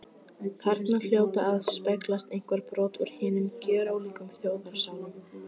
Þarna hljóta að speglast einhver brot úr hinum gjörólíku þjóðarsálum.